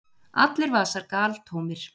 Allir vasar galtómir!